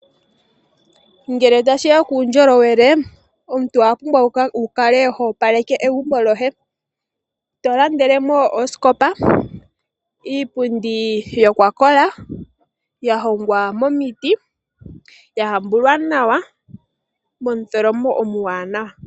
Ngele tashi ya kuundjolowele omuntu owa pumbwa wu kale ho opaleke egumbo lyoye. To landele mo oosikopa, iipundi yokwa kola ya hongwa momiti, ya hambulwa nawa momutholomo omwaanawa.